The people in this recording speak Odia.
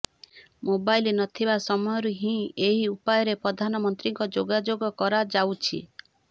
ମୋବାଇଲ ନଥିବା ସମୟରୁ ହିଁ ଏହି ଉପାୟରେ ପ୍ରଧାନମନ୍ତ୍ରୀଙ୍କ ଯୋଗାଯୋଗ କରାଯାଉଛି